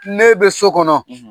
N'e bɛ so kɔnɔ, .